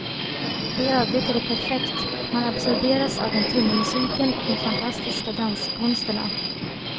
I övrigt är det perfekt, man absorberas av den tunga musiken och de fantastiska danskonsterna.